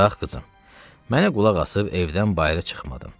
Bax qızım, mənə qulaq asıb evdən bayırı çıxmadın.